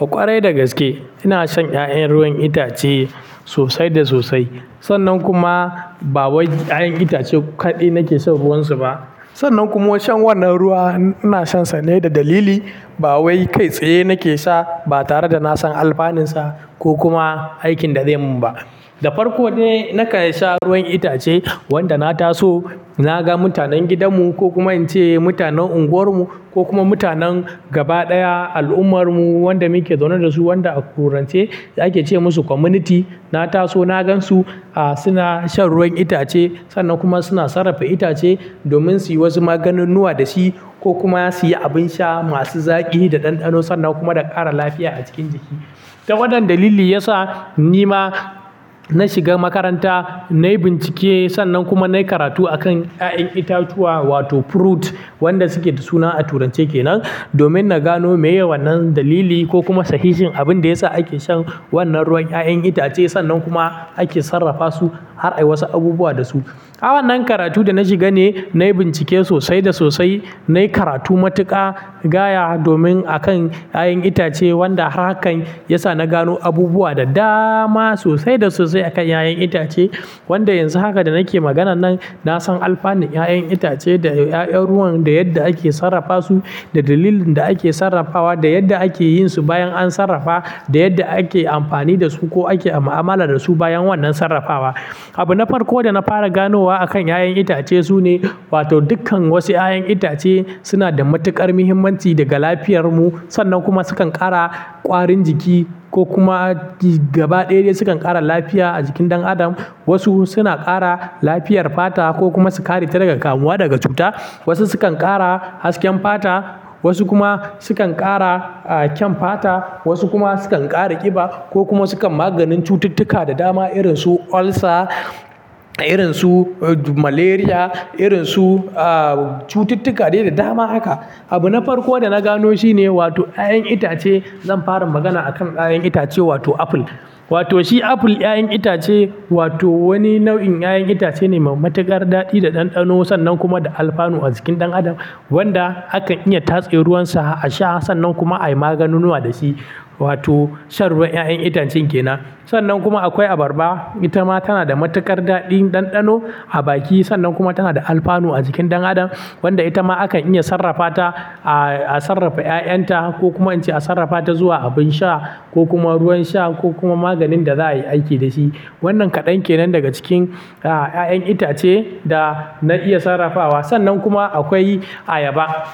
A ƙwarai da gaske ina shan 'ya'yan ruwan itace sosai da sosai. Sannan kuma ba wai 'ya'yan itace kaɗai nake shan ruwan su ba. Sannan kuma wai shan wannan ruwa ina shansa ne da dalili ba wai kai tsaye nake sha ba tare da na san alfanun sa ko kuma aikin da zai mun ba. Da farko de na karya sha ruwan itace wanda na taso na ga mutanen gidan mu ko kuma ince mutanen unguwar mu ko kuma mutanen gaba ɗaya al'ummar mu wanda muke zaune da su wanda a turanche ake ce musu community. Na taso na gan su a suna shan ruwan itace sannan kuma suna sarrafa itace domin suyi wasu maganin nuwa da shi ko kuma suyi abin sha masu zaƙi da ɗanɗano sannan kuma da ƙara lafiya a cikin jiki. Ta wannan dalili ya sa ni ma na shiga makaranta nai bincike sannan kuma nai karatu a kan 'ya'yan itatuwa wato fruit wanda suke da suna a turance kenan. Domin na gano meye wannan dalili ko kuma sahihin abin da yasa ake shan wannan ruwan 'ya'yan itace sannan kuma ake sarrafa su har ai wasu abubuwa da su. A wannan karatu da na shiga ne nai bincike sosai da sosai. Nai karatu matuƙa, gaya domin a kan 'ya'yan itace wanda har haka ya sa na gano abubuwa da dama sosai da sosai a kan 'ya'yan itace. Wanda yanzu haka da nike maganan nan na san alfanun 'ya'yan itace da 'ya'yan ruwan da yadda ake sarrafa su, da dalilin da ake sarrafawa, da yadda ake yin su bayan an sarrafa, da yadda ake amfani da su ko ake ma'amala da su bayan wannan sarrafawa. Abu na farko da na fara gano wa a kan 'ya'yan itace su ne wato dukkan wasu 'ya'yan itace suna da matuƙar muhimmanci daga lafiyar mu sannan kuma sukan ƙara ƙwarin jiki ko kuma gaba ɗaya de sukan ƙara lafiya a jikin ɗan adam. Wasu suna ƙara lafiyar fata ko kuma su kare ka daga kamuwa daga cuta. Wasu sukan ƙara hasken fata, wasu kuma sukan ƙara a kyan fata, wasu kuma sukan ƙara ƙiba ko kuma sukan maganin cututtuka da dama irin su ulcer, irin su malaria, irin su a cututtuka dai yawa da dama haka. Abu na farko da na gano shi ne wato 'ya'yan itace. Zan fara magana a kan 'ya'yan itace wato apple. Wato shi apple 'ya'yan itace wato wani nau'in 'ya'yan itace ne mai matuƙar daɗi da ɗanɗano sannan kuma da alfanu a jikin ɗan adam wanda akan iya tatse ruwan sa a sha sannan kuma ai maganunuwa da shi wato shan ruwan 'ya'yan itacen kenan. Sannan kuma akwai abarba. Itama tana da matuƙar daɗin ɗanɗano a baki sannan kuma tana da alfanu a jikin ɗan adam wanda itama akan iya sarrafata a sarrafa 'ya'yan ta ko kuma ince a sarrafata ta zuwa abin sha ko kuma ruwan sha ko kuma maganin da za'ai aiki dashi. Wannan kaɗan kenan daga cikin a 'ya'yan itace da na iya sarrafawa. Sannan kuma akwai ayaba.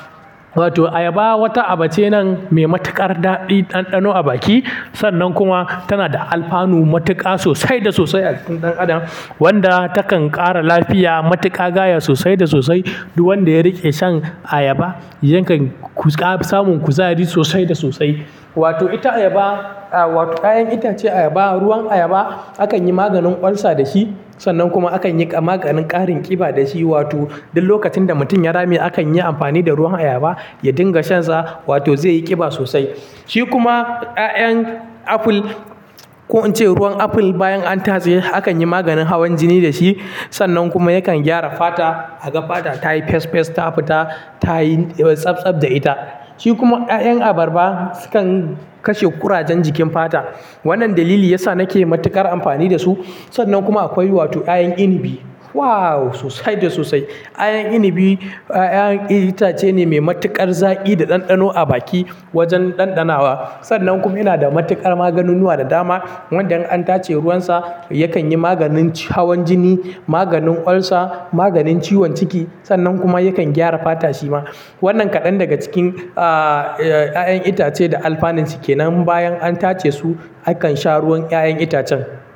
Wato ayaba wata aba ce nan mai matuƙar daɗi ɗanɗano a baki sannan kuma tana da alfanu matuƙa sosai da sosai a jikin ɗan adam wanda takan ƙara lafiya matuƙa gaya sosai da sosai. Duk wanda ya riƙe shan ayaba yakan ƙuza samun kuzari sosai da sosai. Wato ita ayaba a wato 'ya'yan itace ayaba ruwan ayaba akan yi maganin ulcer da shi sannan kuma akan yi maganin ƙarin ƙiba da shi. Wato duk lokacin da mutum ya rame akan yi amfani da ruwan ayaba ya dinga shansa wato zai yi ƙiba sosai. Shi kuma 'ya'yan apple ko ince ruwan apple bayan an tatse akanyi maganin hawan jini da shi sannan kuma yakan gyara fata. Aga fata tayi fes fes ta fita tayi tsabtsab da ita. Shi kuma 'ya'yan abarba sukan kashe ƙurajen jikin fata. Wannan dalili ya sa nake matuƙar amfani da su. Sannan kuma akwai wato 'ya'yan inabi. Wow! Sosai da sosai. 'Ya'yan inabi 'ya'yan itace ne mai matuƙar zaƙi da ɗanɗano a baki wajen ɗanɗanawa. Sannan kuma yana da matuƙar maganinuwa da dama wanda in an tace ruwan sa yakan yi maganin hawan jini, maganin ulcer, maganin ciwon ciki sannan kuma yakan gyara fata shi ma. Wannan kaɗan daga cikin a 'ya'yan itace da alfanun su kenan bayan an tace su akan sha ruwan 'ya'yan itacen.